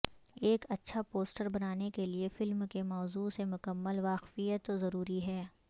ایک اچھا پوسٹر بنانے کےلئے فلم کے موضوع سے مکمل واقفیت ضروری ہے